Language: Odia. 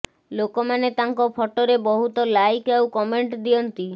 ଲୋକମାନେ ତାଙ୍କ ଫଟୋରେ ବହୁତ ଲାଇକ ଆଉ କମେଣ୍ଟ ଦିଅନ୍ତି